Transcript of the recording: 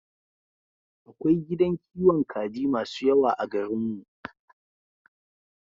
Akwai gidan kiwon kaji masu yawa a garin mu